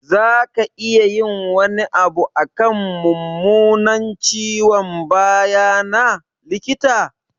Za ka iya yin wani abu akan mummunan ciwon baya na, likita?